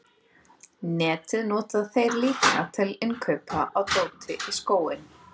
Netið nota þeir líka til innkaupa á dóti í skóinn.